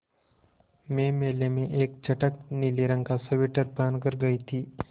मैं मेले में एक चटख नीले रंग का स्वेटर पहन कर गयी थी